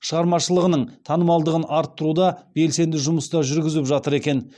шығармашылығының танымалдығын арттыруда белсенді жұмыстар жүргізіп жатыр екен